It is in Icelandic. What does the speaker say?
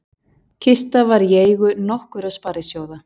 Kista var í eigu nokkurra sparisjóða